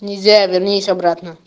нельзя вернись обратно